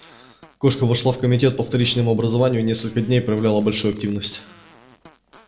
кошка вошла в комитет по вторичному образованию и несколько дней проявляла большую активность